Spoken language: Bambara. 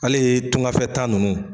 Ale ye tungafɛ taa nunnu.